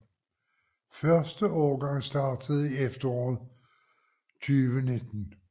Første årgang startede i efteråret 2019